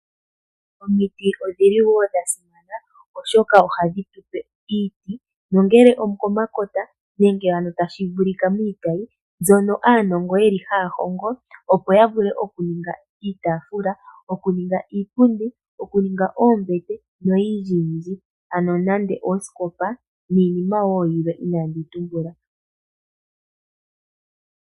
Omiti odhili woo dha simana oshoka ohadhitupe iiti nongele okomakota nenge ano tashi vulika miitayi mbyono aanongo yeli haya hongo opo yavule okuninga iitafula, iipundi, oombete noyindji yindji . Ano nande ooskopa niinima woo yilwe inaandi yi tumbula.